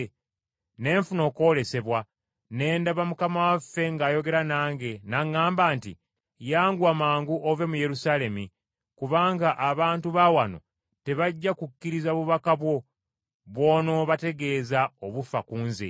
ne nfuna okwolesebwa ne ndaba Mukama waffe ng’ayogera nange, n’aŋŋamba nti, ‘Yanguwa mangu ove mu Yerusaalemi, kubanga abantu ba wano tebajja kukkiriza bubaka bwo bw’onoobategeeza obufa ku nze.’